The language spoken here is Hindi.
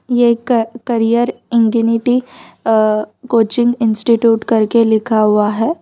ये क करियर इंगीनीटी अ कोचिंग इंस्टिट्यूट करके लिखा हुआ है।